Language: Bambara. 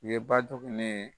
Nin ye ba joginne ye.